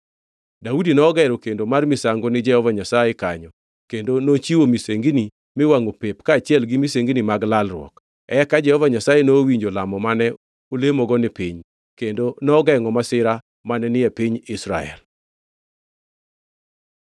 Daudi nogero kendo mar misango ni Jehova Nyasaye kanyo kendo nochiwo misengini miwangʼo pep kaachiel misengini mag lalruok. Eka Jehova Nyasaye nowinjo lamo mane olemogo ni piny, kendo nogengʼo masira mane ni e piny Israel.